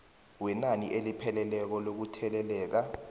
wenani elipheleleko lokutheleleka